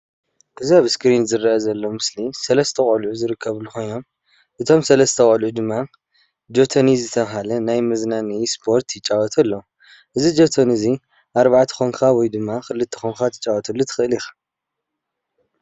እዚ ኣብ እስክሪን ዝርአ ዘሊ ምስሊ 3 ቆልዑ ዝርከብሉ ኮይኖም እቶም ሰለስት ቆልዑ ድማ ጆቶኒ ዝተብሃለ ናይ መዝናነይ ስፖርት ይጫዎቱ ኣለዉ ።እዚ ጆቶኒ እዚ 4 ኮይንካ ወይ ዳማ 2 ኮይንካ ክትጫወተሉ ትክእል ኢካ።